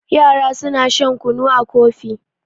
yara suna shan kunu a Kofi